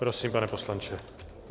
Prosím, pane poslanče.